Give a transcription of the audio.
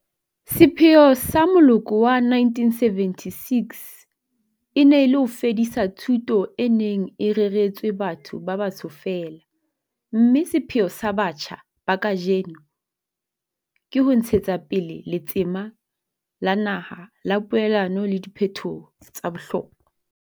Sepheo sa moloko wa 1976 e ne e le ho fedisa thuto e neng e reretswe batho ba batsho feela, mme sepheo sa batjha ba kajeno ke ho ntshetsa pele letsema la naha la poelano le diphetoho tsa bohlokwa.